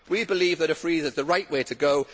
We believe that a freeze is the right way to go